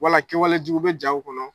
Wala kɛwale jugu bɛ jaaw kɔnɔ.